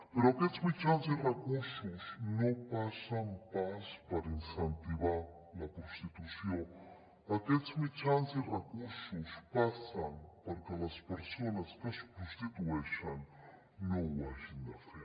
però aquests mitjans i recursos no passen pas per incentivar la prostitució aquests mitjans i recursos passen perquè les persones que es prostitueixen no ho hagin de fer